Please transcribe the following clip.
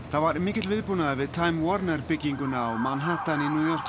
það var mikill viðbúnaður við time bygginguna á Manhattan